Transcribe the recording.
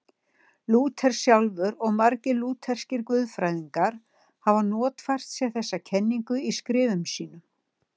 Lúther sjálfur og margir lútherskir guðfræðingar hafa notfært sér þessa kenningu í skrifum sínum.